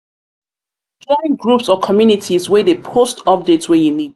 join groups or communities wey de post update wey you need